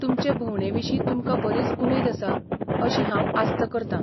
तुमचे भोंवडेविशीं तुमकां बरीच उमेद आसा अशी हांव आस्त करतां.